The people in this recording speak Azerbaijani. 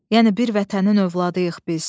Yəni bir vətənin övladıyıq biz.